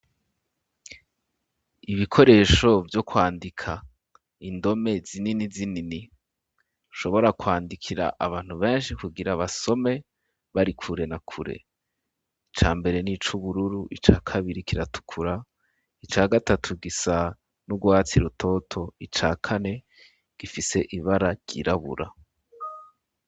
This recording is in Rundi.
ibikoresho vyo kwandika indome zinini zinini ushobora kwandikira abantu benshi kugira basome bari kure na kure ica mbere n'ic'ubururu ica kabiri kiratukura ica gatatu gisa n'urwatsi rutoto icakane gifise ibara ry'irabura